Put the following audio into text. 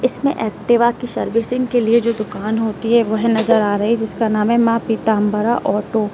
इसमें एक्टिवा की सर्विसिंग के लिए जो दुकान होती है वह नजर आ रही है जिसका नाम है मां पीतांबरा ऑटो ।